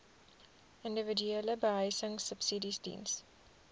individuele behuisingsubsidies diens